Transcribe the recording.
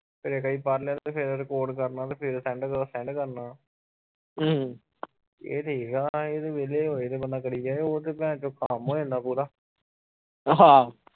ਫਿਰ ਇਕ ਵਾਰੀ ਪੜ੍ਹ ਲਿਆ ਤੇ ਫਿਰ record ਕਰਨਾ ਤੇ ਫਿਰ send ਕਰਨਾ ਇਹ ਸਹੀ ਆ ਇਹ ਤਾ ਵੇਹਲੇ ਹੋਏ ਬੰਦਾ ਕਰੀ ਜਾਵੇ ਉਹ ਤਾ ਭੈਣਚੋਦ ਹੋ ਜਾਂਦਾ ਪੂਰਾ